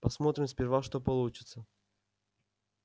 посмотрим сперва что получится